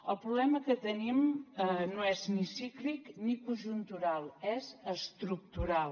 el problema que tenim no és ni cíclic ni conjuntural és estructural